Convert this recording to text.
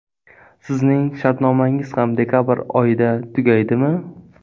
Sizning shartnomangiz ham dekabr oyida tugaydimi?